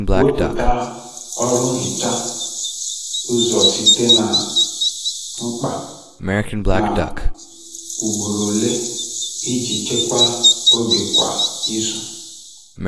Wepụta ọrụ nhicha ụzọ site na mkpa na ugboro ole iji chekwaa oge kwa izu.